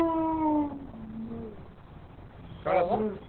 काय ग